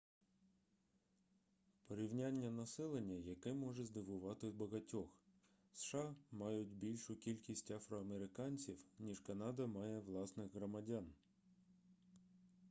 порівняння населення яке може здивувати багатьох сша мають більшу кількість афроамериканців ніж канада має власних громадян